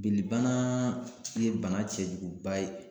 Benni bana ye bana cɛjuguba ye.